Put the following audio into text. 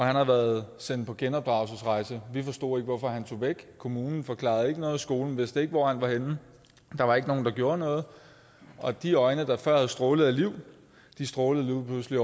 har været sendt på genopdragelsesrejse vi forstod ikke hvorfor han tog væk kommunen forklarede ikke noget skolen vidste ikke hvor han var henne der var ikke nogen der gjorde noget og de øjne der før havde strålet af liv strålede lige